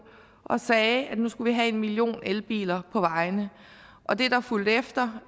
og sagde at nu skulle vi have en million elbiler på vejene og det der fulgte efter